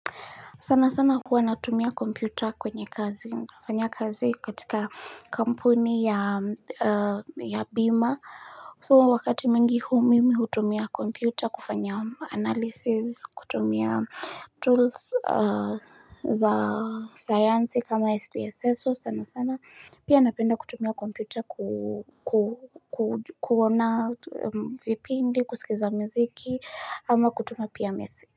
Sana sana huwa natumia kompyuta kwenye kazi. Fanya kazi katika, kampuni ya m a ya bima Tuo wakati mingi humimi hutumia kompyuta kufanya analysis, kutumia tools, a za sayansi kama SPSS sos sana sana. Pia napenda kutumia kompyuta ku ku kuj kuona t em vipindi, kusikiza miziki, ama kutuma pia mesi.